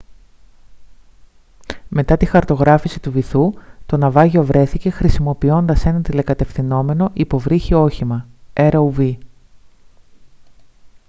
μετά τη χαρτογράφηση του βυθού το ναυάγιο βρέθηκε χρησιμοποιώντας ένα τηλεκατευθυνόμενο υποβρύχιο όχημα rov